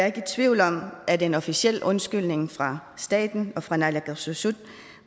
ikke i tvivl om at en officiel undskyldning fra staten og fra naalakkersuisut